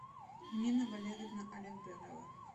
нина валерьевна алекберова